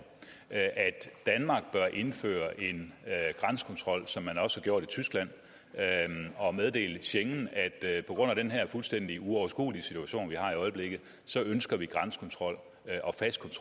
at danmark bør indføre en grænsekontrol som man også har gjort i tyskland og meddele schengen at på grund af den her fuldstændig uoverskuelige situation vi har i øjeblikket så ønsker vi grænsekontrol